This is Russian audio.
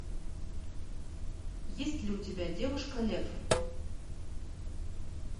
есть ли у тебя девушка лев